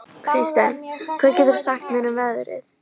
Kirsten, hvað geturðu sagt mér um veðrið?